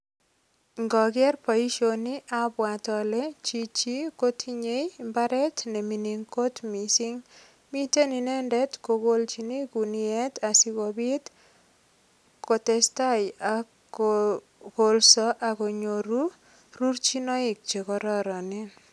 Ngoker boisioni abwat ale chichi kotinye imbaret ne mining kot mising. Miten inendet kokolchine kuniet asigopit kotestai ak kokolso ak konyoru rurchinoik che kororon. Miten inendet kogolchini kuniet asigopit kotestai ak kpkolso ak konyoru rurchinoik che kororonen.